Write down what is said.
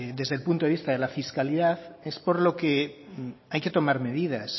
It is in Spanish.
desde el punto de vista de la fiscalidad es por lo que hay que tomar medidas